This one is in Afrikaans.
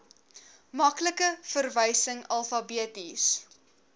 maklike verwysing alfabeties